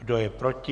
Kdo je proti?